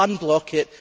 Unblock it.